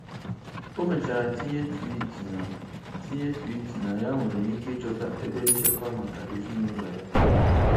O mechara tinye tweet na tinye tweet na ya nwere ike ịchọta ebe nchekwa maka ezinụlọ ya.